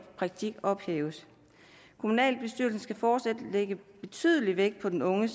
praktik ophæves kommunalbestyrelsen skal fortsat lægge betydelig vægt på den unge